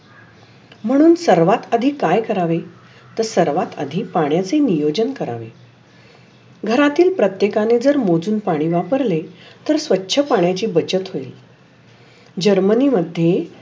म्हणून सर्वात आधी काय करावे? तर सर्वात आधी पाण्याचे नियोजन करावे. घरातील प्रत्येकांनी जर मोजून पाणी वापरले तर स्वच्छ पाण्याची बचत होईल. जर्मनी मध्ये